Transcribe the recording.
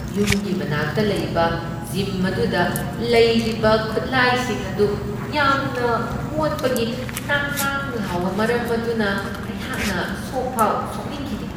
ꯌꯨꯝꯒꯤ ꯃꯅꯥꯛꯇ ꯂꯩꯕ ꯖꯤꯝ ꯑꯗꯨꯗ ꯂꯩꯔꯤꯕ ꯈꯨꯠꯂꯥꯏꯁꯤꯡ ꯑꯗꯨ ꯌꯥꯝꯅ ꯃꯣꯠꯄꯒꯤ ꯅꯥꯡ ꯅꯥꯡ ꯂꯥꯎꯕ ꯃꯔꯝ ꯑꯗꯨꯅ ꯑꯩꯍꯥꯛꯅ ꯁꯣꯛꯐꯥꯎ ꯁꯣꯛꯅꯤꯡꯈꯤꯗꯦ ꯫